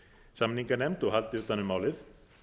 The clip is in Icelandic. samninganefnd og haldi utan um málið